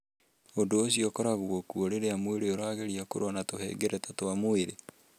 Ũndũ ũcio ũkoragwo kuo rĩrĩa mwĩrĩ ũrageria kũrũa na tũhengereta twa mwĩrĩ.